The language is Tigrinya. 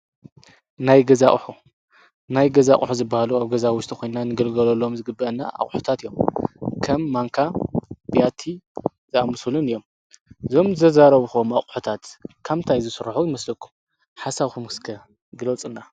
ናይ ገዛ ኣቑሑት-ናይ ገዛ ቕሑ ዝበሃሉ ኣብ ገዛ ውሽጢ ኮይንናን ክንግልገሎሎም ዝግብአና ኣቝሑታት እዮም፡፡ ከም ማንካ፣ ቢያቲ ዝኣምሱሉን እዮም፡፡ እዞም ዘዛረቡኾም ኣቑሑታት ካብ ምንታይ ዝስርሑ ይመስለኩ? ሓሳብኩም እስከ ግለፁልና፡፡